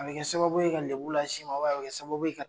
A be kɛ sababu ye ka lebu lase i ma ubɛn a be be kɛ sababu ye ka